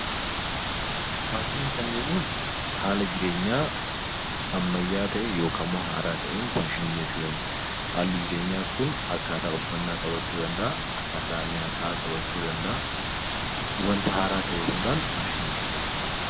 Faashinii kan jennuun haala jireenyaa ammayyaa'aa ta'een (haaraa ta'een) faashinii jechuu dandeenya. Haalli jireenyaa kun akkaataa uffannaa qabachuu danda'a; akkaataa nyaataa qabachuu danda'a. Wanta haaraa ta'e hundaan faashinii jenna jechuu dha.